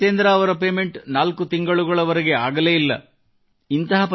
ಅದೇ ರೀತಿ ಜಿತೇಂದ್ರ ಅವರ ಪೇಮೆಂಟ್ ನಾಲ್ಕು ತಿಂಗಳವರೆಗೆ ಆಗಲೇ ಇಲ್ಲ